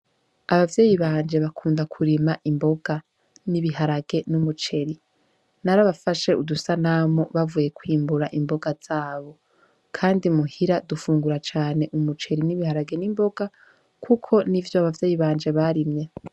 Abavyeyi banje bakunda kurima imboga n'ibiharage n'umuceri narabafashe udusa namo bavuye kwimbura imboga zabo, kandi muhira dufungura cane umuceri n'ibiharage n'imboga, kuko n'i vyo abavyeyi banje barimye.